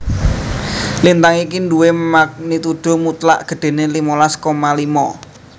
Lintang iki duwé magnitudo mutlak gedhéné limolas koma limo